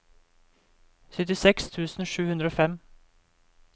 syttiseks tusen sju hundre og fem